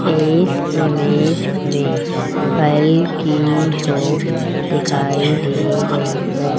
एक इमेज में फल की शॉप दिखाई दे रही है।